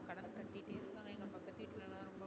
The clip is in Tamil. கடன் கட்டிட்டே இருகாங்க எங்க பக்கத்து வீட்டுலலா ரொம்ப